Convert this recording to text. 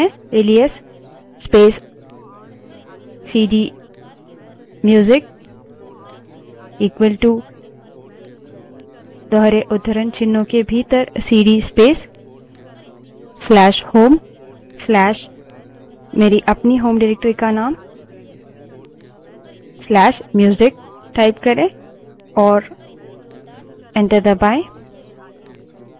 alias space cd music equal to दोहरे उद्धरणचिन्हों के भीतर सीडी space/home/मेरी अपनी home directory का name/music type करें और enter दबायें